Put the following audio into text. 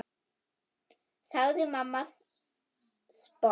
sagði mamma sposk.